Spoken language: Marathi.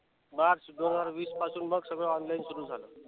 मार्च दोन हजार वीसपासून मग सगळ online सुरु झालं.